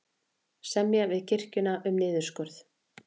Semja við kirkjuna um niðurskurð